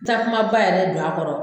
Takumaba yɛrɛ don a kɔrɔ